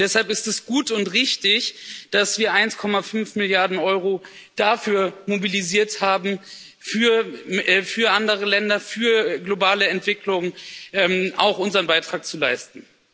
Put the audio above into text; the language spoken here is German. Und deshalb ist es gut und richtig, dass wir 1,5 Milliarden Euro dafür mobilisiert haben, auch für andere Länder, für die globale Entwicklung unseren Beitrag zu leisten.